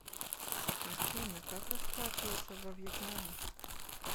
афина как расплачиваться во вьетнаме